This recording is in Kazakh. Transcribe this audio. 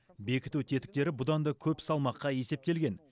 бекіту тетіктері бұдан да көп салмаққа есептелген